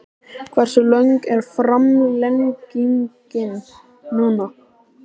Hversu löng er framlengingin núna?